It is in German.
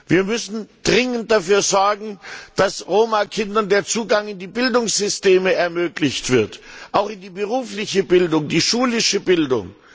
Wir müssen dringend dafür sorgen, dass Roma Kindern der Zugang in die Bildungssysteme ermöglicht wird, auch in die berufliche Bildung, die schulische Bildung.